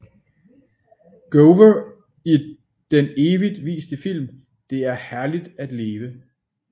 Gower i den evigt viste film Det er herligt at leve